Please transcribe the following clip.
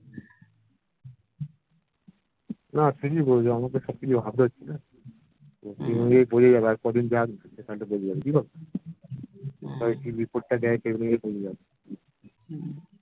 না ঠিকই বলছিস আমাকে সবকিছু ভাবতে হচ্ছে না এমনিতেই বুঝে যাবো আর কদিন যাক না বুঝেজাব